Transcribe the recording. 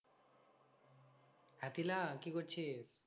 হ্যাঁ তিলা কি করছিস?